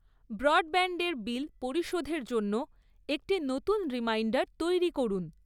ব্রডব্যান্ডের bill পরিশোধের জন্য একটি নতুন রিমাইন্ডার তৈরি করুন৷